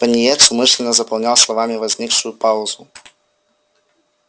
пониетс умышленно заполнял словами возникшую паузу